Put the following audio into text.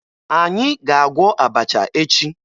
Anyị ga-agwọ abacha echi